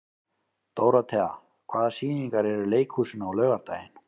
Dórothea, hvaða sýningar eru í leikhúsinu á laugardaginn?